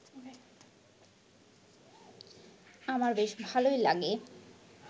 আমার বেশ ভালই লাগে